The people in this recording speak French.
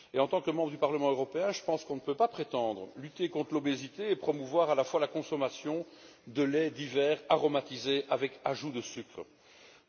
En tant que membres du Parlement européen, je pense qu'on ne peut pas prétendre lutter contre l'obésité et promouvoir à la fois la consommation de laits divers aromatisés contenant du sucre ajouté.